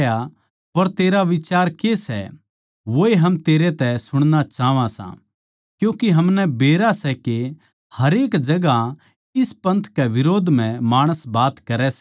पर तेरा बिचार के सै वोए हम तेरै तै सुणना चाहवां सां क्यूँके हमनै बेरा सै के हरेक जगहां इस पंथ कै बिरोध म्ह माणस बात करै सै